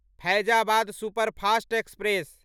Faizabad superfast express